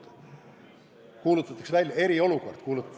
Küll kuulutatakse välja eriolukord.